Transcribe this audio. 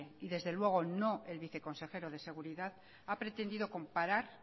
desde luego no el viceconsejero de seguridad ha pretendido comparar